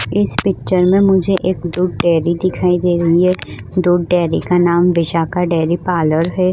इस पिक्चर में मुझे एक दूध डेरी दिखाई दे रही है दूध डेरी का नाम बिशाखा डेरी पार्लर है।